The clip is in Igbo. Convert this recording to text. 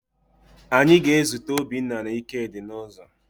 Anyị ga-ezute Obinna na Ikedi n'ụzọ